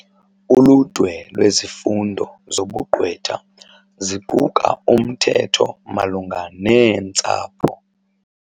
Uludwe lwezifundo zobugqwetha ziquka umthetho malunga neentsapho.